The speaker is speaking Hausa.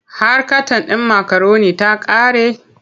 Har katan ɗin makaroni ta ƙare?